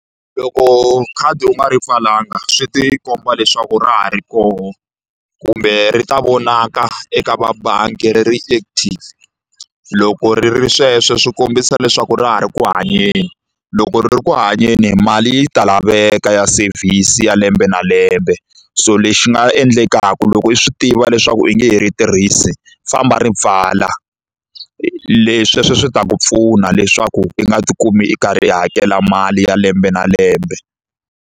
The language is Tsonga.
Loko khadi u nga ri pfalanga swi ti komba leswaku ra ha ri kona kumbe ri ta vonaka eka vabangi ri ri active loko ri ri sweswo swi kombisa leswaku ra ha ri ku hanyeni loko ri ri ku hanyeni mali yi ta laveka ya service ya lembe na lembe so lexi nga endlekaka loko i swi tiva leswaku i nge he ri tirhisi famba ri pfala le sweswo swi ta ku pfuna leswaku i nga tikumi i karhi i hakela mali ya lembe na lembe.